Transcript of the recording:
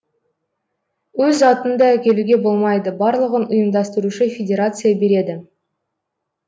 өз затыңды әкелуге болмайды барлығын ұйымдастырушы федерация береді